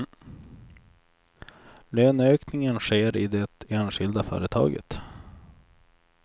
Löneökningen sker i det enskilda företaget.